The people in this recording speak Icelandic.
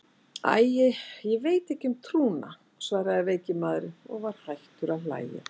Æ, ég veit ekki um trúna, svaraði veiki maðurinn og var hættur að hlæja.